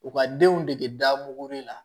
U ka denw dege da mugu de la